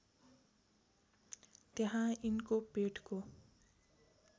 त्यहाँ यिनको पेटको